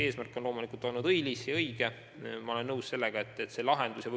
Eesmärk on loomulikult õilis ja õige, aga ma olen nõus, et see ei ole lahendus.